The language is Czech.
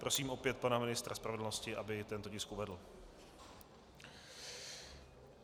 Prosím opět pana ministra spravedlnosti, aby tento tisk uvedl.